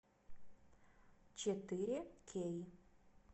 четыре кей